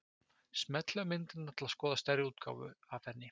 Smellið á myndina til að skoða stærri útgáfu af henni.